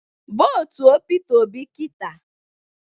Votuo Peter Obi kita!